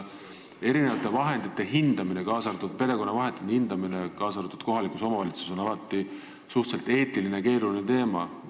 Eri vahendite, kaasa arvatud perekonna vahendite hindamine, kaasa arvatud kohalikus omavalitsuses, on alati eetiliselt suhteliselt keeruline teema.